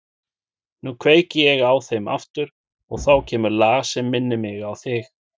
Nú kveiki ég á þeim aftur og þá kemur lag sem minnir mig á þig.